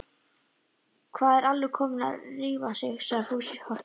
Hvað er Alli kommi að rífa sig? sagði Fúsi hortugur.